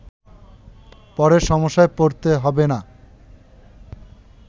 পরে সমস্যায় পড়তে হবে না